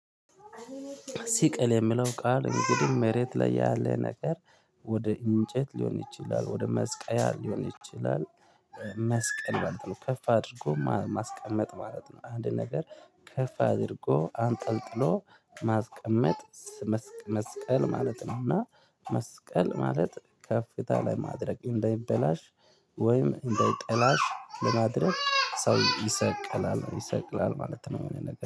ሲቀል የሚለው ቃል፣ እንግዲህ፣ መሬት ላይ ያለ ነገር ወደ እንጨት ሊሆን ይችላል፣ ወደ መስቀያ ሊሆን ይችላል፣ ኤ መስቀል ማለት ነው። ከፍ አድርጎ ማስቀመጥ ማለት ነው። አንድ ነገር ከፍ አድርጎ አንጠልጥሎ ማስቀመጥ፣ መስቀ መስቀል ማለት ነውና። መስቀል ማለት ከፍታ ላይ ማድረግ፣ እንዳይበላሽ ወይም እንዳይጠላሽ ለማድረግ ሰው ይሰቅላል። ይሰቅላል ማለት የሆነ ነገር